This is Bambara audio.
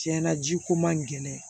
Tiɲɛna ji ko man gɛlɛn